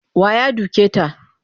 Wa ya duke ta?